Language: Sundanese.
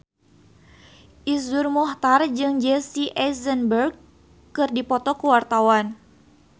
Iszur Muchtar jeung Jesse Eisenberg keur dipoto ku wartawan